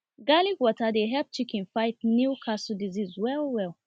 garlic water dey help chicken fight newcastle disease well well